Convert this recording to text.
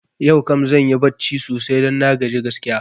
Yau kam zanyi barci sosai don na gaji gaskiya